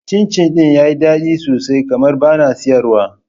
Cin cin ɗin yayi daɗi sosai kamar bana siyarwa ba